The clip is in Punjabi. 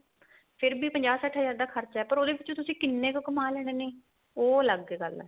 ਫੇਰ ਵੀ ਪੰਜਾਹ ਸੱਠ ਹਜਾਰ ਦਾ ਖ਼ਰਚਾ ਪਰ ਉਹਦੇ ਵਿੱਚ ਤੁਸੀਂ ਕਿੰਨੇ ਕ ਕੰਮਾ ਲੈਣੇ ਨੇ ਉਹ ਅਲੱਗ ਗੱਲ ਏ